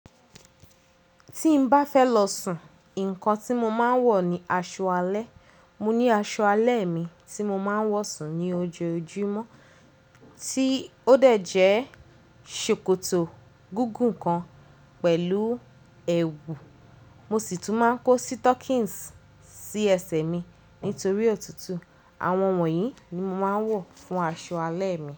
Tí n bá fẹ́ lọ sùn, ǹkan tí mo máa ń wọ̀ ni aṣọ alẹ́. Mo ní aṣọ alẹ́ mi tí mo máa ń wọ̀ sùn ní ojoojúmọ́ tí ó dẹ̀ jẹ́ ṣòkòtò gugùn kan pẹ̀lú ẹwù. Mo sì tún máa ń kó sítọ́kìns sí ẹsẹ̀ mi nítorí òtútù. Àwọn wọ̀nyí ni mo máa ń wọ̀ fún aṣọ alẹ́ mi.